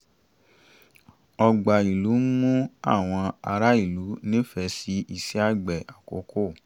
ọgbà ìlú ń mú àwọn aráàlú nífẹ̀ẹ́ sí iṣẹ́ àgbẹ̀ àkókò